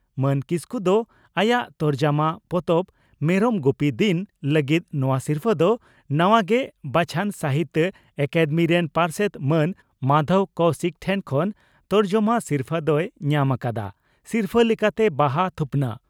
ᱢᱟᱱ ᱠᱤᱥᱠᱩ ᱫᱚ ᱟᱭᱟᱜ ᱛᱚᱨᱡᱚᱢᱟ ᱯᱚᱛᱚᱵ 'ᱢᱮᱨᱚᱢ ᱜᱩᱯᱤ ᱫᱤᱱ' ᱞᱟᱹᱜᱤᱫ ᱱᱚᱣᱟ ᱥᱤᱨᱯᱷᱟᱹ ᱫᱚ ᱱᱟᱣᱟ ᱜᱮ ᱵᱟᱪᱷᱚᱱ ᱥᱟᱦᱤᱛᱭᱚ ᱟᱠᱟᱫᱮᱢᱤ ᱨᱮᱱ ᱯᱟᱨᱥᱮᱛ ᱢᱟᱱ ᱢᱟᱫᱷᱚᱵᱽ ᱠᱚᱣᱥᱤᱠ ᱴᱷᱮᱱ ᱠᱷᱚᱱ ᱛᱚᱨᱡᱚᱢᱟ ᱥᱤᱨᱯᱷᱟᱹ ᱫᱚᱭ ᱧᱟᱢ ᱟᱠᱟᱫᱼᱟ ᱾ᱥᱤᱨᱯᱷᱟᱹ ᱞᱮᱠᱟᱛᱮ ᱵᱟᱦᱟ ᱛᱷᱩᱯᱱᱟᱜ